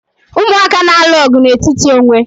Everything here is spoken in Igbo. Umụaka na-alụ ọgụ n'etiti onwe